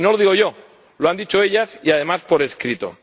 Y no lo digo yo, lo han dicho ellas, y, además, por escrito.